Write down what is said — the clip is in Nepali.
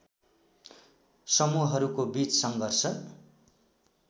समूहहरूको बीच सङ्घर्ष